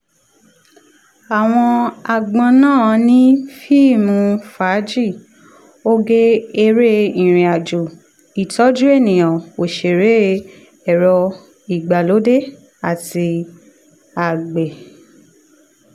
àwọn agbon náà ni fíìmù fàájì oge eré ìrìn àjò ìtọ́jú ènìyàn òsèré ẹ̀rọ ìgbàlódé àti àgbẹ̀.